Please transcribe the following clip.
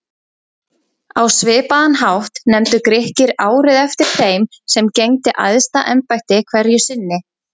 Á svipaðan hátt nefndu Grikkir árið eftir þeim sem gegndi æðsta embætti hverju sinni.